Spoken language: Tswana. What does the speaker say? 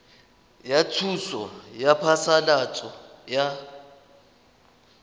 ya thuso ya phasalatso ya